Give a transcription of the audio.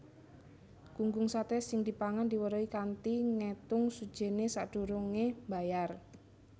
Gunggung saté sing dipangan diweruhi kanthi ngétung sujènné sadurungé mbayar